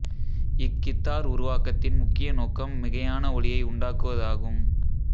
இக் கித்தார் உருவாக்கத்தின் முக்கிய நோக்கம் மிகையான ஒலியை உண்டாக்குவதாகும்